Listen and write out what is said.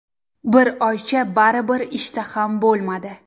Bir oycha baribir ishtaham bo‘lmadi.